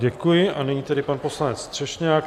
Děkuji a nyní tedy pan poslanec Třešňák.